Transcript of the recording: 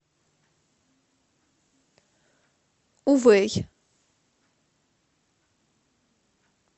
увэй